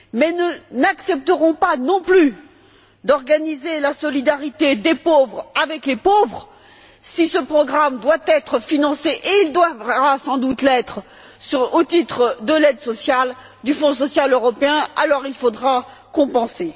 Nous n'accepterons pas, non plus, d'organiser la solidarité des pauvres avec les pauvres. Si ce programme doit être financé et il devra sans doute l'être, au titre de l'aide sociale, du Fonds social européen il faudra alors compenser.